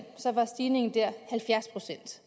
var stigningen dér halvfjerds procent